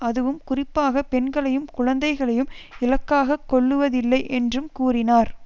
அதுவும் குறிப்பாக பெண்களையும் குழந்தைகளையும் இலக்காக கொள்ளுவதில்லை என்றும் கூறினார்